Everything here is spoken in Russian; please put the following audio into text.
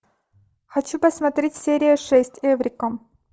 хочу посмотреть серия шесть эврика